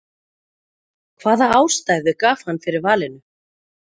hvaða ástæðu gaf hann fyrir valinu?